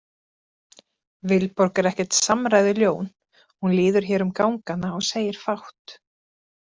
Vilborg er ekkert samræðuljón, hún líður hér um gangana og segir fátt.